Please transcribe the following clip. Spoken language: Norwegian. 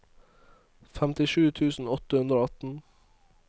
femtisju tusen åtte hundre og atten